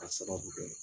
A sababu kɛ